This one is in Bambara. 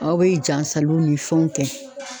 Aw be jasaliw ni fɛnw kɛ.